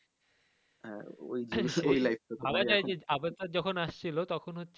হ্যা ওই